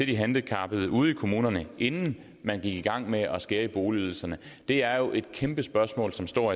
de handicappede ude i kommunerne inden man gik i gang med at skære i boligydelserne det er jo et kæmpe spørgsmål som står